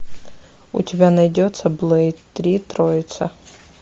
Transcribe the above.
у тебя найдется блейд три троица